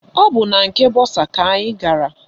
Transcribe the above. Ọ bụ na nke bọsa ka anyị ga-aga